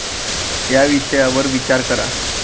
या विषयावर विचार करा.